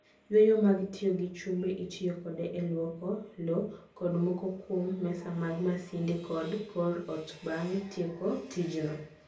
Yweyo ma tiyo gi chumbe: Itiyo kode e lwoko lowo kod moko kuom mesa mag masinde, kod kor ot bang' tieko tijno.